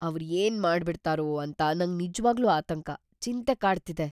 ಅವ್ರ್ ಏನ್‌ ಮಾಡ್ಬಿಡ್ತಾರೋ ಅಂತ ನಂಗ್ ನಿಜ್ವಾಗ್ಲೂ ಆತಂಕ, ಚಿಂತೆ ಕಾಡ್ತಿದೆ.